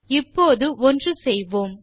இப்போது ஒன்று செய்வோம்